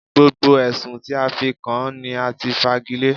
Gbogbo Ẹ̀sùn tí a fi kàn án ní a ti fagilé.